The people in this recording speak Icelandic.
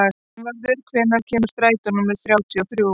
Einvarður, hvenær kemur strætó númer þrjátíu og þrjú?